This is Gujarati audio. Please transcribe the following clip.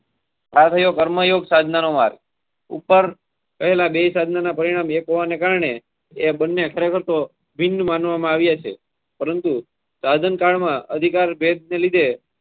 અને માર્ગદર્શન આવ્યા છે માટે એક માણસ બે માર્ગો પર એક સમયે. ગંગાજી જવા માટે.